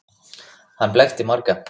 Hann blekkti marga.